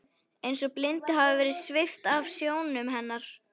Eins og blindu hafi verið svipt af sjónum hennar.